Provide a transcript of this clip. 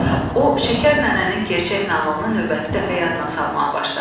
O, Şəkər nənənin gerçək nağılını növbəti dəfə yadına salmağa başladı.